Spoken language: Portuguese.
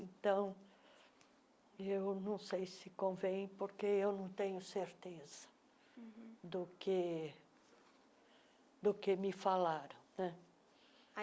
Então, eu não sei se convém, porque eu não tenho certeza uhum do que do que me falaram né.